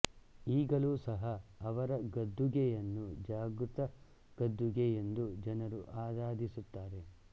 ಈಗಲೂ ಸಹ ಅವರ ಗದ್ದುಗೆಯನ್ನು ಜಾಗೃತ ಗದ್ದುಗೆ ಯೆಂದು ಜನರು ಆರಾಧಿಸುತ್ತಾರೆ